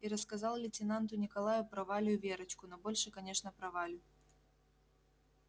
и рассказал лейтенанту николаю про валю и верочку но больше конечно про валю